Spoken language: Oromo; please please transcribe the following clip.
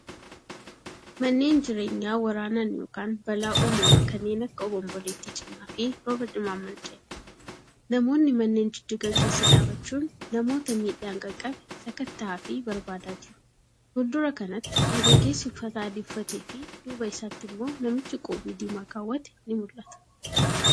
Manneen jireenyaa waraanaan yookan balaa uumamaa kanneen akka obomboleetti cimaafi rooba cimaan manca'e. Namoonni manneen jijjigan keessa dhaabachuun namoota miidhaan qaqqabe sakatta'aafi barbaadaa jiru. Fuuldura kanatti, Dargaggeedsi uffata adii uffatefi duuba isaatti immoo namichi qoobii diimaa keewwate ni mul'ata.